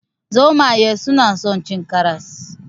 Zomaye suna son cin karas.